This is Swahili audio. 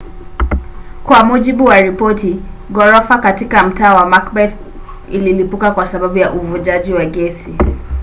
kwa mujibu wa ripoti ghorofa katika mtaa wa macbeth ililipuka kwa sababu ya uvujaji wa gesi